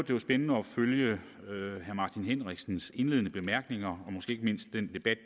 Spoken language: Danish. det var spændende at følge herre martin henriksens indledende bemærkninger og måske ikke mindst den debat